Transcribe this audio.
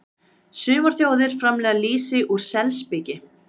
Sumar þjóðir framleiða lýsi úr selspiki.